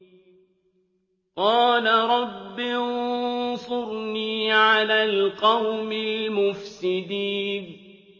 قَالَ رَبِّ انصُرْنِي عَلَى الْقَوْمِ الْمُفْسِدِينَ